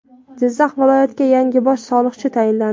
Jizzax viloyatiga yangi bosh soliqchi tayinlandi.